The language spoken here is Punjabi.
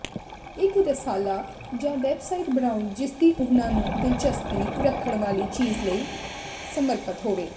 ਇੱਕ ਰਸਾਲਾ ਜਾਂ ਵੈਬਸਾਈਟ ਬਣਾਉਣਾ ਜਿਸਦੀ ਉਹਨਾਂ ਨੂੰ ਦਿਲਚਸਪੀ ਰੱਖਣ ਵਾਲੀ ਚੀਜ਼ ਲਈ ਸਮਰਪਤ ਹੋਵੇ